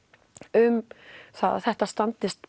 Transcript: um að þetta standist